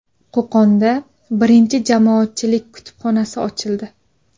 Qo‘qonda birinchi jamoatchilik kutubxonasi ochildi.